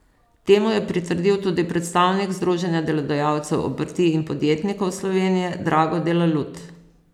Temu je pritrdil tudi predstavnik Združenja delodajalcev obrti in podjetnikov Slovenije Drago Delalut.